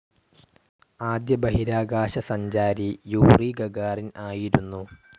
ആദ്യ ബഹിരാകാശസഞ്ചാരി Yuri Gagarin ആയിരുന്നു.